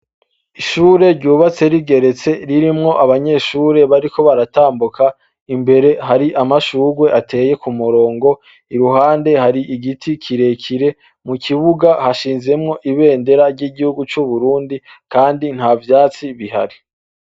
Ishure ryubatse rigeretse, ririmwo abanyeshure bariko baratambuka imbere harih amashurwe ateye kumurongo. Iruhande hari Igiti kirkire, mukibuga hashinzemwo ibendera ryigihugu c'uburundi kandi ntavyatsi nihari.